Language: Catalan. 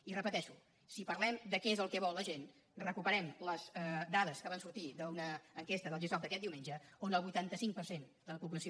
i ho repeteixo si parlem de què és el que vol la gent recuperem les dades que van sortir d’una enquesta del gesop aquest diumenge on el vuitanta cinc per cent de la població